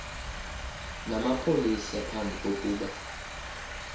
namapolisa phambi kokuba